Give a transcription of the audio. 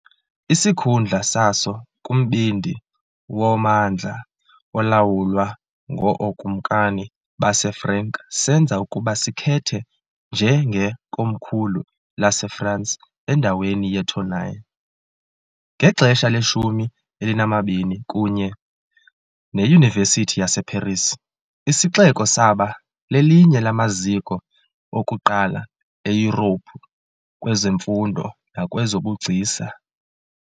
Isikhundla saso kumbindi wommandla olawulwa ngookumkani baseFrank senza ukuba sikhethe njengekomkhulu laseFrance endaweni yeTournai. Ngexesha leshumi elinambini, kunye neYunivesithi yaseParis, isixeko saba lelinye lamaziko okuqala eYurophu kwezemfundo nakwezobugcisa.